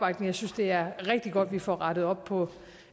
jeg synes det er rigtig godt at vi får rettet op på